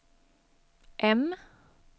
M